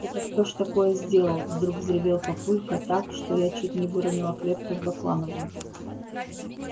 это кто ж такое сделал вдруг взревел папулька так что я чуть не выронила клетку с баклановым